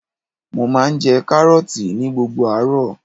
Mo máa ń jẹ Kárọ́ọ̀tì ní gbogbo àárọ̀.